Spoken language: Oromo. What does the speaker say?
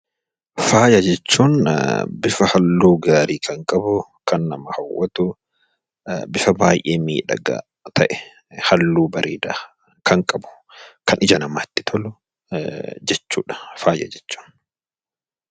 Faayaa jechuun bifa halluu gaarii kan qabu, kan nama hawwatu, bifa baay'ee miidhaga ta'e, halluu bareeda kan qabu kan ija namatti tolu jechuudha. faayaa jechuun.